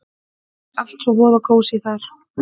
Allt svo voða kósí þar!